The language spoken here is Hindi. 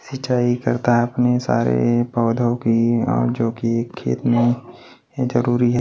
सिंचाई करता अपने सारे पौधों की और जो कि खेत में जरूरी है।